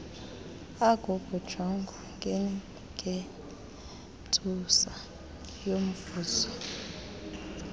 akukujongwa ngengentsusa yomvuzo